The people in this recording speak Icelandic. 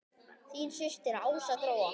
Þín systir Ása Gróa.